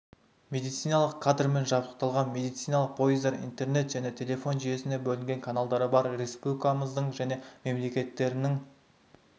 медициналық кадрмен жабдықталған медициналық пойыздар интернет және телефон жүйесінің бөлінген каналдары бар республикамыздың және мемлекеттерінің